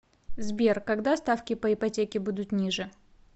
сбер когда ставки по ипотеке будут ниже